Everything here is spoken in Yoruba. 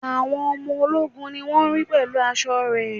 Àwọn ọmọ ológun ni wón ri pẹ̀lú aṣọ re